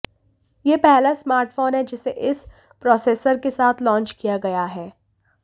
यह पहला स्मार्टफोन है जिसे इस प्रोसेसर के साथ लॉन्च किया गया है